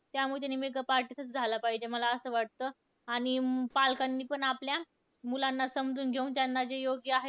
त्यामुळं त्यानी makeup artist झाला पाहिजे, मला असं वाटतं. आणि पालकांनी पण आपल्या मुलांना समजून घेऊन त्यांना जे योग्य आहे,